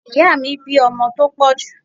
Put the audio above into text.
Ìyáà mi bí ọmọ tó pọ̀ jù.